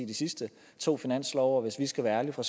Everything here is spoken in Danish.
de sidste to finanslove og hvis vi skal være ærlige fra